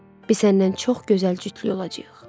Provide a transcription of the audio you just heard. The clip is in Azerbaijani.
Biz səndən çox gözəl cütlük olacağıq.